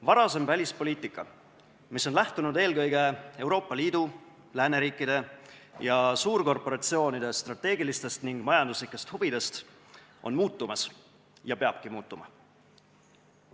Varasem välispoliitika, mis on lähtunud eelkõige Euroopa Liidu, lääneriikide ja suurkorporatsioonide strateegilistest ning majanduslikest huvidest, on muutumas ja peabki muutuma.